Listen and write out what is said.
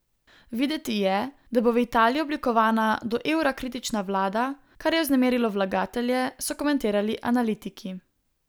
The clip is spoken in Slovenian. Videti je, da bo v Italiji oblikovana do evra kritična vlada, kar je vznemirilo vlagatelje, so komentirali analitiki.